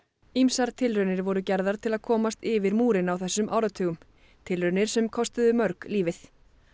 ýmsar tilraunir voru gerðar til að komast yfir múrinn á þessum áratugum tilraunir sem kostuðu mörg lífið